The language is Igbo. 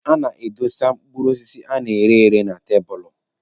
A na-edosa mkpụrụ osisi a na-ere ere n'elu tabụlụ.